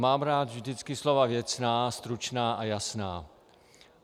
Mám rád vždycky slova věcná, stručná a jasná.